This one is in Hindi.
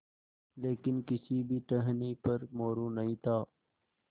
लेकिन किसी भी टहनी पर मोरू नहीं था